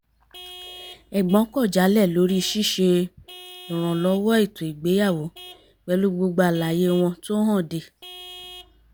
ẹ̀gbọ́n kọ̀ jálẹ̀ lórí ṣ´ṣe ìrànlọ́wọ́ ètò ìgbéyàwó pẹ̀lú gbogbo àlàyé wọn tó hànde